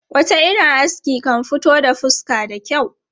Wata irin aski kan fito da fuska da kyau.